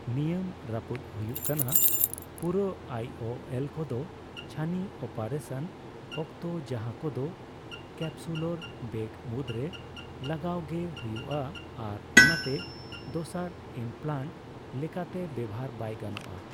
ᱱᱤᱭᱟᱹᱢ ᱨᱟᱯᱩᱫ ᱦᱩᱭᱩᱜ ᱠᱟᱱᱟ ᱯᱩᱨᱟᱹ ᱟᱭ ᱳ ᱮᱞ ᱠᱚᱫᱚ, ᱪᱷᱟᱹᱱᱤ ᱚᱯᱨᱮᱥᱟᱱ ᱚᱠᱛᱚ ᱡᱟᱦᱟᱸᱠᱚᱫᱚ ᱠᱮᱯᱥᱩᱞᱚᱨ ᱵᱮᱜᱽ ᱢᱩᱫᱽᱨᱮ ᱞᱟᱜᱟᱣᱜᱮ ᱦᱩᱭᱩᱜᱼᱟ ᱟᱨ ᱚᱱᱟᱛᱮ ᱫᱚᱥᱟᱨ ᱤᱢᱯᱞᱟᱸᱴ ᱞᱮᱠᱟᱛᱮ ᱵᱮᱣᱦᱟᱨ ᱵᱟᱭ ᱜᱟᱱᱚᱜᱼᱟ ᱾